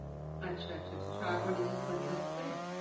अच्छा अच्छा अच्छा शाळा कॉलेजेस बंद असते